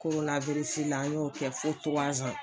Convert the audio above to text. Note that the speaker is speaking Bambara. la an y'o kɛ fo